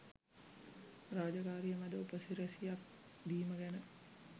රාජකාරි මැද උපසිරැසියක් දීම ගැන